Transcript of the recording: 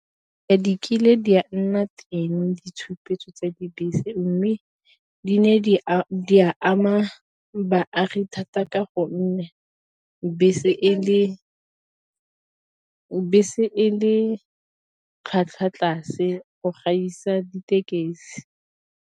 Di kile di a nna teng ditshupetso tsa dibese, mme di ne di a ama baagi thata ka gonne bese e le tlhwatlhwa tlase go gaisa ditekesi.